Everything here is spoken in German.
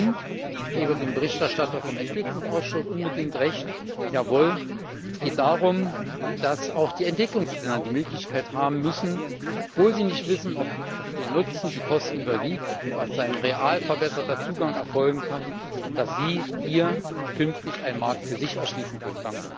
Und ich gebe dem Berichterstatter vom Ausschuss für Entwicklung unbedingt Recht, jawohl, es geht darum, dass auch die Entwicklungsländer die Möglichkeit haben müssen obwohl sie nicht wissen, ob der Nutzen die Kosten überwiegt und als ein real verbesserter Zugang erfolgen kann dass sie hier künftig einen Markt für sich erschließen können.